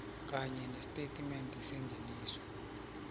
kanye nestatimende sengeniso